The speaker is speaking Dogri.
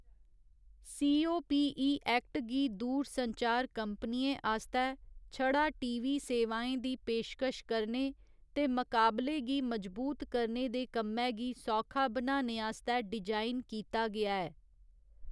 सी.ओ.पी.इ. ऐक्ट गी दूरसंचार कंपनियें आस्तै छड़ा टी.वी. सेवाएं दी पेशकश करने ते मकाबले गी मजबूत करने दे कम्मै गी सौखा बनाने आस्तै डिजाइन कीता गेआ ऐ।